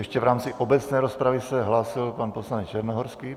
Ještě v rámci obecné rozpravy se hlásil pan poslanec Černohorský.